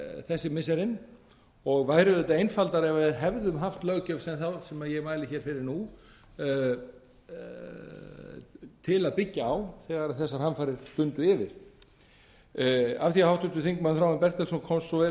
þessi missirin og væri auðvitað einfaldara ef við erum haft löggjöf þá sem ég mæli hér fyrir nú til að byggja á þegar þessar hamfarir dundu yfir af því að háttvirtur þingmaður þráinn bertelsson komst svo vel að